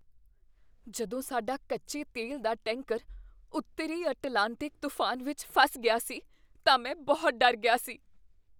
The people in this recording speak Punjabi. ਜਦੋਂ ਸਾਡਾ ਕੱਚੇ ਤੇਲ ਦਾ ਟੈਂਕਰ ਉੱਤਰੀ ਅਟਲਾਂਟਿਕ ਤੂਫਾਨ ਵਿੱਚ ਫਸ ਗਿਆ ਸੀ ਤਾਂ ਮੈਂ ਬਹੁਤ ਡਰ ਗਿਆ ਸੀ।